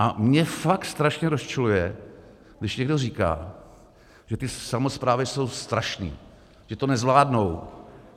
A mě fakt strašně rozčiluje, když někdo říká, že ty samosprávy jsou strašné, že to nezvládnou.